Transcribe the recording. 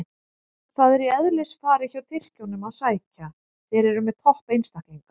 Það er í eðlisfari hjá Tyrkjunum að sækja, þeir eru með topp einstaklinga.